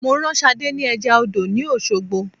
Mo rán Sadé ni eja odò ni Osogbo